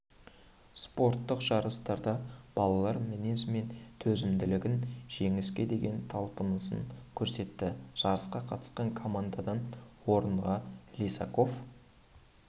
спорттық жарыстарда балалар мінезі мен төзімділігін жеңіске деген талпынысын көрсетті жарысқа қатысқан командадан орынға лисаков